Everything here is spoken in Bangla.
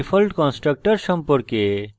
default constructor সম্পর্কে